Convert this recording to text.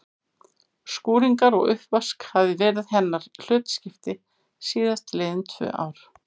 Skúringar og uppvask hafði verið hennar hlutskipti síðast liðin tvö ár.